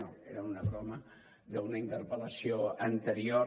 no era una broma d’una interpel·lació anterior